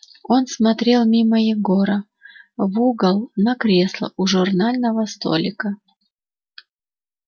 он смотрел мимо егора в угол на кресло у журнального столика